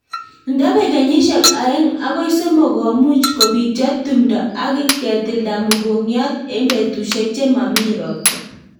Ndapek kenyishek aeng' agoi somok ,ko much kopityo tumdo ak ketilda mugongiot eng petushek che mami ropta